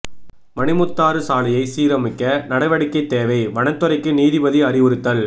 மணிமுத்தாறு சாலையை சீரமைக்க நடவடிக்கை தேவை வனத் துறைக்கு நீதிபதி அறிவுறுத்தல்